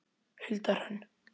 Hulda Hrönn.